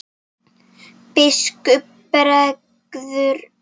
Biskupi bregður við.